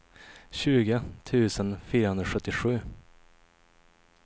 tjugo tusen fyrahundrasjuttiosju